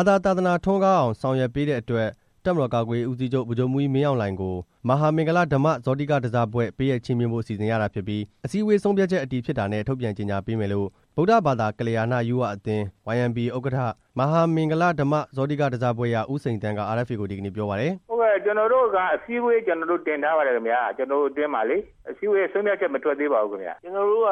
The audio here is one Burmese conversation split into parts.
ာ သာသနာထွန်းကောင်းအောင် ဆောင်ရွက်ပေးတဲ့အတွက် တပ်မတော်ကာကွယ်ရေးဦးစီးချုပ် ဗိုလ်ချုပ် မှူးကြီး မင်းအောင်လှိုင်ကို မဟာမင်္ဂလဓမ္မဇောတိကဓဇဘွဲ့ ပေးအပ်ချီးမြှင့်ဖို့ စီစဉ်ရတာဖြစ်ပြီး အစည်းအဝေး ဆုံးဖြတ်ချက်အတည်ဖြစ်တာနဲ့ ထုတ်ပြန်ကြေညာပေးမယ်လို့ ဗုဒ္ဓဘာသာကလျာဏ ယုဝအသင်း ဥက္ကဋ္ဌ မဟာမင်္ဂလဓမ္မ ဇောတိကဓဇဘွဲ့ရ ဦးစိန်သန်းက RFA ကို ဒီကနေ့ ပြောပါတယ်။ "ဟုတ်ကဲ့ ကျွန်တော်တို့က အစည်းအဝေးမှာ ကျွန်တော်တို့ တင်ထားပါတယ်ခင်ဗျ ကျွန်တော်တို့အတွင်းမှာလေ၊ အစည်းအဝေးက ဆုံးဖြတ်ချက်မထွက်မသေးပါဘူးခင်ဗျ၊ ကျွန်တော်တို့က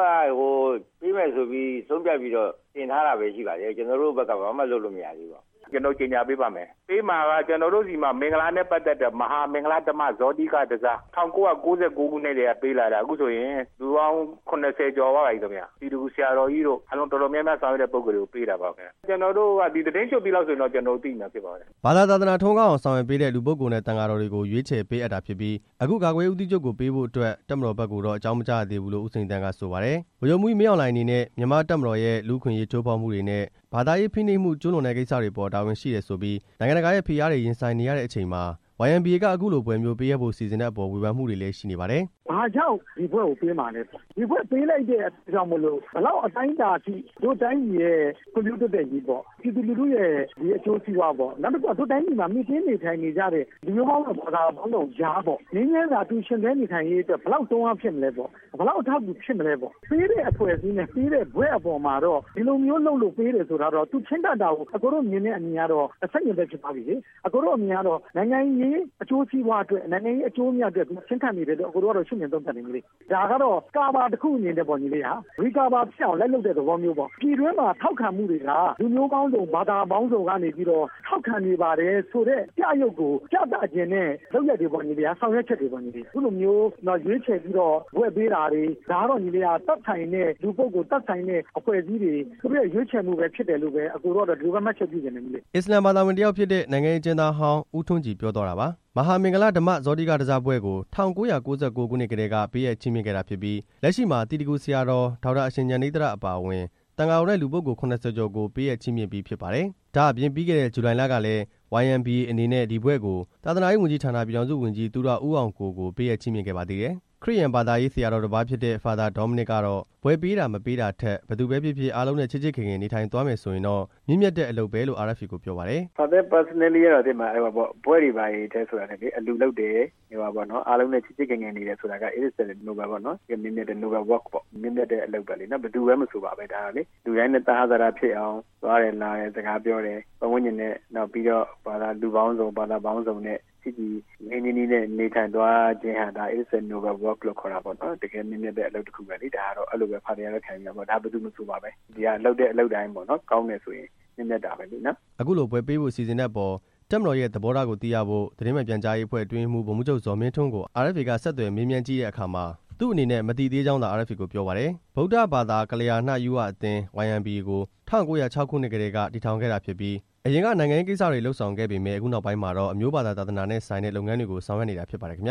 ပေးမယ်ဆိုပြီးဆုံးဖြတ်ပြီးတော့ တင်ထားတာပဲရှိပါသေးတယ်၊ ကျွန်တော်တို့ဘက်က ဘာမှလုပ်လို့မရသေးပါဘူး၊ ကျွန်တော်တို့ ကြေညာပေး ပါ့မယ်၊ ပေးမှာက ကျွန်တော်တို့ဆီမှာ မင်္ဂလာနဲ့ပတ်သက်တဲ့ မဟာမင်္ဂလဓမ္မဇောတိကဓဇ ၊ ၁၉၉၉ ခုနှစ်ကတည်း က ပေးလာတာ အခုဆိုရင် လူပေါင်း ၇၀ ကျော်သွားပါပြီခင်ဗျ၊ သီတဂူဆရာတော်ကြီးတို့ အားလုံးတော်တော် များများ ဆောင်ရွက်တဲ့ပုဂ္ဂိုလ်တွေကို ပေးတာပါခင်ဗျ၊ ကျွန်တော်တို့က ဒီသီတင်းကျွတ်ပြီးလောက်ဆိုရင်တော့ သိရမှာဖြစ်ပါတယ်" ဘာသာ သာသနာထွန်းကားအောင် ဆောင်ရွက်ပေးတဲ့ လူပုဂ္ဂိုလ်နှင့် သံဃာတော်တွေကို ရွေးချယ် ပေးအပ် တာဖြစ်ပြီး အခု ကာကွယ်ရေးဦးစီးချုပ်ကိုပေးဖို့အတွက် တပ်မတော်ဘက်ကိုတော့ အကြောင်းမကြားရသေးဘူးလို့ ဦးစိန်သန်းက ဆိုပါတယ်။ ဗိုလ်ချုပ်မှူးကြီး မင်းအောင်လှိုင်အနေနဲ့ မြန်မာ့တပ်မတော်ရဲ့လူ့အခွင့်အရေးချိုးဖောက်မှုတွေနဲ့ ဘာသာရေးဖိနှိပ်မှု ကျုးလွန်တဲ့ကိစ္စတွေအပေါ် တာဝန်ရှိတယ်ဆိုပြီး နိုင်ငံတကာရဲ့ဖိအားတွေ ရင်ဆိုင်နေရတဲ့အချိန်မှာ YMBA က အခုလိုဘွဲ့မျိုး ပေးအပ်ဖို့စီစဉ်တဲ့အပေါ် ဝေဖန်မှုတွေလည်း ရှိနေပါတယ်။ "ဘာကြောင့်ဒီဘွဲ့ကို ပေးမှာလဲပေါ့၊ ဒီဘွဲ့ပေးလိုက်တဲ့အတွက်ကြောင့်မို့ ဘယ်လောက်အတိုင်းအတာထိ တို့တိုင်းပြည်ရဲ့ ဖွံ့ဖြိုးတိုးတက်ရေးပေါ့၊ ပြည်သူလူထုရဲ့ အကျိုးစီးပွားပေါ့၊ နောက်တစ်ခုက ဒီတိုင်းပြည်မှာ မှီတင်းနေထိုင်နေကြတဲ့ လူမျိုးပေါင်းစုံ ဘာသာပေါင်းစုံကြားပေါ့ ငြိမ်းချမ်းစွာ အတူယှဉ်တွဲနေထိုင်ရေးအတွက် ဘယ်လောက်တွန်းအားဖြစ်မလဲပေါ့၊ ဘယ်လောက် အထောက်အတူဖြစ်မလဲပေါ့၊ ပေးတဲ့အဖွဲ့အစည်းနဲ့ ပေးတဲ့ဘွဲ့အပေါ်မှာတော့ ဒီလိုမျိုးလုပ်လို့ ပေးတယ်ဆိုတာတော့ သူချဉ်းကပ်တာကို အကိုတို့မြင်တဲ့အမြင် ကတော့ ဆန့်ကျင်ဘက်ဖြစ်သွားပြီလေ၊ အကိုတို့အမြင်ကတော့ နိုင်ငံရေးအကျိုးစီးပွားအတွက် နိုင်ငံရေးအကျိုး အမြတ်အတွက် ချဉ်းကပ်နေတယ်လို့ အကိုတို့ကတော့ ရှုမြင်သုံးသပ်တယ်၊ ဒါကတော့ ကာဗာတစ်ခုအနေနဲ့ပေါ့၊ ရီကာဗာဖြစ်အောင် လိုက်လုပ်တဲ့သဘောမျိုးပေါ့၊ ပြည်တွင်းမှာ ထောက်ခံမှုတွေက လူမျိုးပေါင်းစုံ ဘာသာပေါင်း စုံကနေပြီးတော့ ထောက်ခံနေပါတယ်ဆိုတဲ့ ပြယုဂ်ကို ပြသချင်တဲ့ လုပ်ရပ်တွေပေါ့၊ ဆောင်ရွက်ချက်တွေပေါ့၊ အခုလိုမျိုးရွေးချယ်ပြီး ဘွဲ့ပေးတာတွေ၊ ဒါကတော့ သက်ဆိုင်တဲ့လူပုဂ္ဂိုလ် သက်ဆိုင်တဲ့အဖွဲ့အစည်းတွေ သူတို့ရဲ့ ရွေးချယ်မှုပဲဖြစ်တယ်လို့ပဲ အကိုတို့ကတော့ ဒီလိုပဲမှတ်ချက်ပြုချင်တယ်" အစ္စလာမ်ဘာသာဝင်တစ်ယောက်ဖြစ်တဲ့ နိုင်ငံရေးအကျဉ်းသားဟောင်း ဦးထွန်းကြည်ပြောသွားတာပါ။ မဟာမင်္ဂလဓမ္မဇောတိကဓဇဘွဲ့ကို ၁၉၉၉ ခုနှစ်ကတည်းက ပေးအပ်ချီးမြှင့်ခဲ့တာဖြစ်ပြီး လက်ရှိမှာ သီတဂူ ဆရာတော် ဒေါက်တာ အရှင်ဉာဏိဿရ အပါအဝင် သံဃာတော်နဲ့လူပုဂ္ဂိုလ် ၇၀ ကျော်ကို ပေးအပ်ချီးမြှင့်ပြီးဖြစ် ပါတယ်။ ဒါ့အပြင် ပြီးခဲ့တဲ့ ဇူလိုင်လကလည်း YMBA အနေနဲ့ ဒီဘွဲ့ကို သာသနာရေးဝန်ကြီးဌာန ပြည်ထောင်စုဝန်ကြီး သူရဦးအောင်ကို ကို ပေးအပ်ချီးမြှင့်ခဲ့ပါသေးတယ်။ ခရစ်ယာန်ဘာသာရေး ဆရာတော်တစ်ပါးဖြစ်တဲ့ ဖာသာဒေါမနစ်ကတော့ ဘွဲ့ပေးတာ မပေးတာထက် ဘယ်သူပဲဖြစ်ဖြစ် အားလုံးနဲ့ ချစ်ချစ်ခင်ခင် နေထိုင်သွားမယ်ဆိုရင်တော့ မြင့်မြတ်တဲ့အလုပ်ပဲလို့ RFA ကိုပြောပါတယ်။ "ဖာသာရဲ့ပုဂ္ဂိုလ်ရေးအမြင်အရတော့ ဘွဲ့တွေဘာတွေထက် အလှူလုပ်တယ်၊ အားလုံးနဲ့ ချစ်ချစ်ခင်ခင်နေတယ် ဆိုတာက ဒါက မြင့်မြတ်တဲ့အလုပ်ပါပဲ၊ ဘယ်သူပဲမဆိုပါပဲ ဒါဟာလေ၊ အားလုံးနဲ့ သဟဇာတဖြစ်အောင် သွားတယ်လာတယ် စကားပြောတယ်၊ ပတ်ဝန်းကျင်နဲ့ နောက်ပီးတော့ လူပေါင်းစုံ ဘာသာပေါင်းစုံနဲ့ ချစ်ကြည် ရင်းရင်းနှီးနှီးနဲ့နေထိုင်သွားခြင်းဟာ တကယ့်မြင့်မြတ်တဲ့အလုပ်တစ်ခုပဲလေ၊ အဲလိုပဲ ဖာသာကတော့ ခံယူတာပဲ၊ ဒါဘယ်သူမဆိုပါပဲ၊ ဒါဟာ လုပ်တဲ့အလုပ်တိုင်း ကောင်းတယ်ဆိုရင် ဒါမြင့်မြတ်တာပဲလေနော်" အခုလိုဘွဲ့ပေးဖို့ စီစဉ်နေတဲ့အပေါ် တပ်မတော်ရဲ့ သဘောထားကိုသိရဖို့ သတင်းမှန်ပြန်ကြားရေးအဖွဲ့ အတွင်းရေးမှူး ဗိုလ်မှူးချုပ် ဇော်မင်းထွန်းကို RFA ကဆက်သွယ်မေးမြန်းကြည့်တဲ့အခါမှာ သူ့အနေနဲ့ မသိသေးကြောင်းသာ RFA ကို ပြောပါတယ်။ ဗုဒ္ဓဘာသာကလျာဏယုဝအသင်း ကို ၁၉ဝ၆ ခုနှစ်ကတည်းက ထူထောင်ခဲ့တာဖြစ်ပြီး အရင် ကနိုင်ငံရေးကိစ္စတွေလုပ်ဆောင်ခဲ့ပေမယ့် အခုနောက်ပိုင်းမှာတော့ အမျိုး၊ ဘာသာ၊ သာသနာနဲ့ဆိုင် တဲ့ လုပ်ငန်းတွေကို ဆောင်ရွက်နေတာဖြစ်ပါတယ်။ (RFA သ